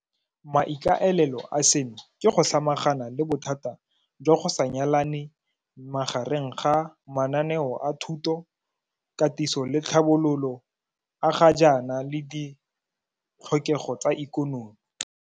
Maikaelelo a seno ke go samagana le bothata jwa go sa nyalane magareng ga mananeo a thuto, katiso le tlhabololo a ga jaana le ditlhokego tsa ikonomi.